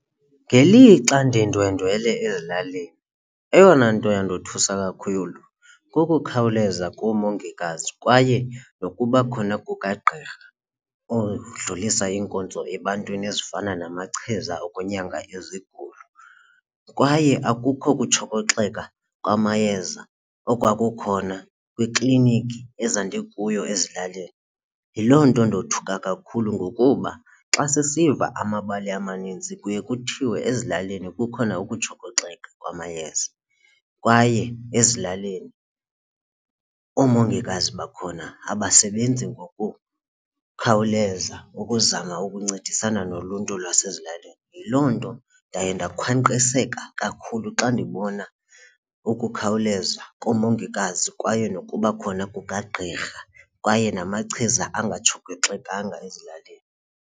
Ngelixa ndindwendwela ezilalini eyona nto yandothusa kakhulu kukukhawuleza koomongikazi kwaye nokuba khona kukagqirha odlulisa iinkonzo ebantwini ezifana namachiza okwenyanga izigulo. Kwaye akukho kutshokoxeka kwamayeza okwakukhona kwiklinikhi ezandikuyo ezilalini. Yiloo nto ndothuka kakhulu ngokuba xa sisiva amabali amanintsi kuye kuthiwe ezilalini kukhona ukutshokoxeka kwamayeza kwaye ezilalini oomongikazi bakhona abasebenzi ngokukhawuleza ukuzama ukuncedisana noluntu lwasezilalini. Yiloo nto ndaye ndakhwankqiseka kakhulu xa ndibona ukukhawuleza komongikazi kwaye nokuba khona kukagqirha kwaye namachiza angatshokoxekanga ezilalini.